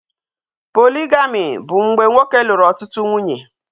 Poligami bụ mgbe nwoke lụrụ ọtụtụ nwunye